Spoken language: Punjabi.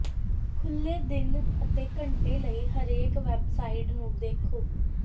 ਖੁੱਲ੍ਹੇ ਦਿਨ ਅਤੇ ਘੰਟੇ ਲਈ ਹਰੇਕ ਵੈਬਸਾਈਟ ਨੂੰ ਦੇਖੋ